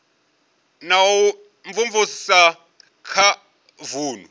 na u imvumvusa kha vunu